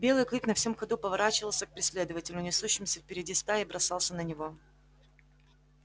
белый клык на всем ходу поворачивался к преследователю несущемуся впереди стаи и бросался на него